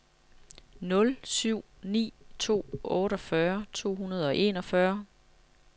nul syv ni to otteogfyrre to hundrede og enogfyrre